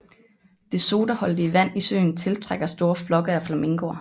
Det sodaholdige vand i søen tiltrækker store flokke af flamingoer